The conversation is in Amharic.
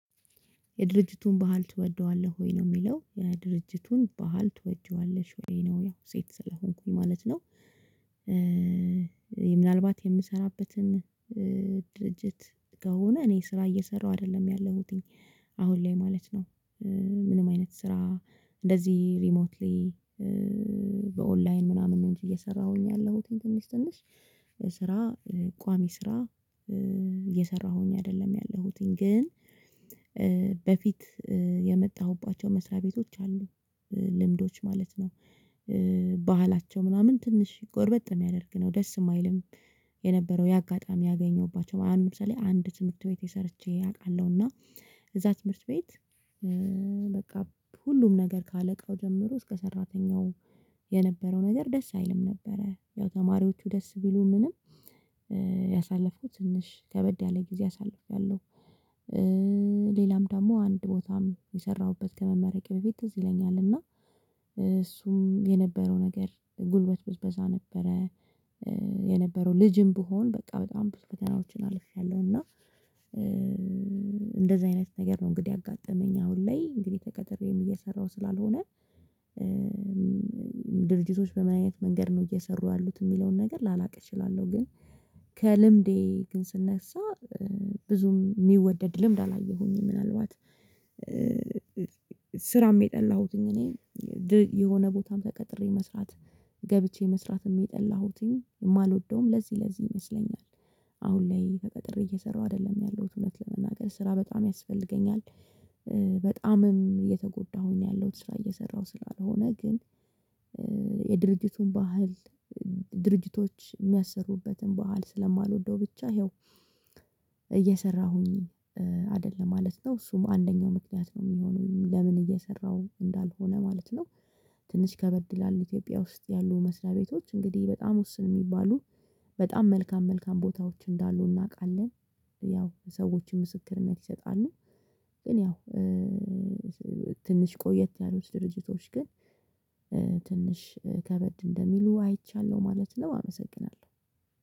የድርጅቱን ባህል ትወደዋለህ ወይ ነው የሚለው የድርጅቱን ባህል ትወጅዋለሽ ወይ ነው? ያው ሴት ስለሆንኩኝ ማለት ነው። ምናልባት የምሰራበትን ድርጅት ከሆነ እኔ ስራ እየሰራሁ አይደለም ያለሁትኝ አሁን ላይ ማለት ነው። ምንም አይነት ስራ እንደዚህ ሪሞት በኦንላይን ምናምን ነው። እንጂ እየሰራሁኝ ያለሁት ትንሽ ትንሽ ስራ ቋሚ ስራ። እየሰራሁኝ አይደለም ያለሁትኝ ግን በፊት የመጣሁባቸው መስሪያ ቤቶች አሉ ልምዶች ማለት ነው። ባህላቸው ምናምን ትንሽ ጎርበጥ ነው ሚያደርግው ደስ የማይልም። የነበረው ያጋጣሚ ያገኘሁባቸው ምናምን ምሳሌ አንድ ትምህርት ቤት ሰርቼ አውቃለሁ። እና እዛ ትምህርት ቤት በቃ ሁሉም ነገር ከአለቃው ጀምሮ እስከ ሰራተኛው የነበረው ነገር ደስ አይልም። ነበረ ያው ተማሪዎቹ ደስ ቢሉ ምንም ያሳለፍኩት ትንሽ ከበድ ያለ ጊዜ አሳልፌያለሁ። ሌላም ደግሞ አንድ ቦታም የሰራሁበት ከመመረቂያ በፊት ትዝ ይለኛል እና እሱም የነበረው ነገር ጉልበት ብዝበዛ ነበረ። የነበረው ልጅም ብሆን በቃ በጣም ብዙ በፈተናዎችን አልችልም እና። እንደዚህ አይነት ነገር ነው እንግዲህ ያጋጠመኝ አሁን ላይ እንግዲህ ተቀጥሬም እየሰራሁ ስላልሆነ። ድርጅቶች በማየት መንገድ ነው እየሰሩ ያሉት የሚለውን ነገር ላላቅ እችላለሁ። ግን ከልምዴ ግን ስነሳ ብዙም የሚወደድ ልምድ አላየሁኝም። ምናልባት ስራም የጠላሁትኝ እኔ የሆነ ቦታም ተቀጥሬ መስራት ገብቼ መስራት የሚጠላሁትኝ የማልወደውም ለዚህ ለዚህ ይመስለኛል። አሁን ላይ ተቀጥሬ እየሰራሁ አይደለም ያለሁት እውነት ለመናገር ስራ በጣም ያስፈልገኛል። በጣምም እየተጎዳሁኝ ነው ያለሁት ስራ እየሰራሁ ስላልሆነ ግን። የድርጅቱን ባህል ድርጅቶች የሚያሰሩበትን ባህል ስለማልወደው ብቻ ይኸው እየሰራሁኝ አይደለም ማለት ነው። እሱም አንደኛው ምክንያት ነው የሚሆነው ለምን እየሰራሁ እንዳልሆነ ማለት ነው። ትንሽ ከበድ ይላል ኢትዮጵያ ውስጥ ያሉ መስሪያ ቤቶች እንግዲህ በጣም ውስን የሚባሉ በጣም መልካም መልካም ቦታዎች እንዳሉ እናውቃለን። ያው ሰዎችን ምስክርነት ይሰጣሉ ግን ያው ትንሽ ቆየት ያሉት ድርጅቶች ግን ትንሽ ከበድ እንደሚሉ አይቻለሁ። ማለትም አመሰግናለሁ